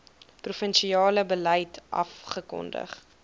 provinsiale beleid afgekondig